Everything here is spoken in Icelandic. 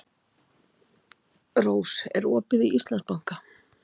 Rós, er opið í Íslandsbanka?